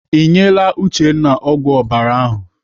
Ị nyere Uchenna ọgwụ ọbara ahụ?